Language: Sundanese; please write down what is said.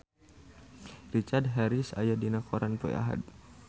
Richard Harris aya dina koran poe Ahad